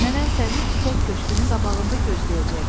Nənən səni çiçək köşkü`nün qabağında gözləyəcək.